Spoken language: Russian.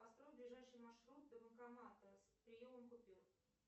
построй ближайший маршрут до банкомата с приемом купюр